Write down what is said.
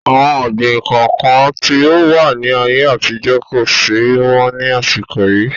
Àwọn ọ̀gbín kọ̀ọ̀kan tí ó wà ní ayé àtijọ́ kosi mọ ni àsìkò yìí